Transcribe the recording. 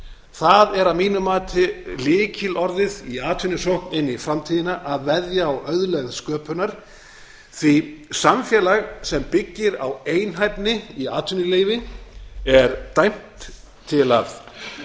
það er að mínu mati lykilorðið í atvinnusókn inn í framtíðina að veðja á auðlegð sköpunar því samfélag sem byggir á einhæfni í atvinnuleyfi er dæmt til að